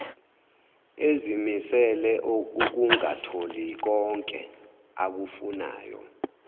ezimisele ukungatholikonke akufunayo